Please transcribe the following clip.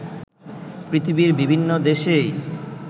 পৃথিবীর বিভিন্ন দেশেই